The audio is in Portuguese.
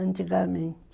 Antigamente.